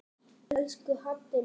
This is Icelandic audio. Elsku Haddi minn.